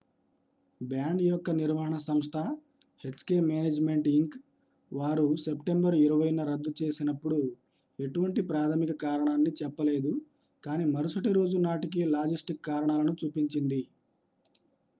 band యొక్క నిర్వహణ సంస్థ hk మేనేజ్మెంట్ ఇంక్ వారు సెప్టెంబరు 20న రద్దు చేసినప్పుడు ఎటువంటి ప్రాథమిక కారణాన్ని చెప్పలేదు కానీ మరుసటి రోజు నాటికి లాజిస్టిక్ కారణాలను చూపించింది